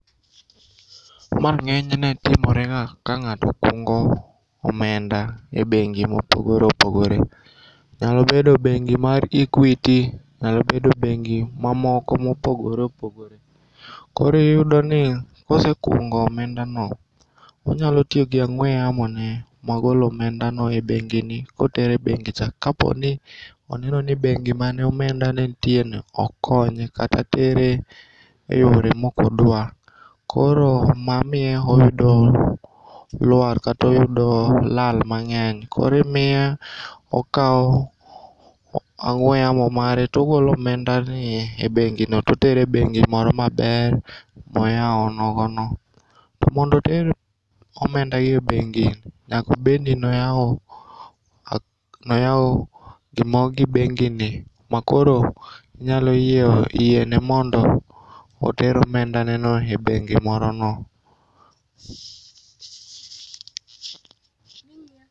Ma ng'enyne timorega ka ng'ato kungo omenda e bengi mopogore opogore. Nyalobedo bengi mar Equity nyalo bedo bengi ma mamoko mopogore opogore. Koro iyudoni kosekungo omendano, onyalo tiyogi ang'ue yamo ne magolo omendano e bengini kotere bengicha kaponi oneno ni bengi mane omendane ntieno ok konye kata tere e yore mokodua koro mamiyo oyudo luar katoyudo lal mang'eny koro imiye okao ang'ue yamo mare togolo omendane e bengino totero e bengi moro maber moyao nogono. To mondo oter omendagi e bengi nyklobedni noyao gi bengini makoro nyalo yiene mondo oter omenda neno e bengi morono.